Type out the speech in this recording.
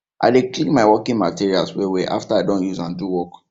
i dey clean my working materials well well after i don use am do work